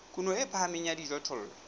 kuno e phahameng ya dijothollo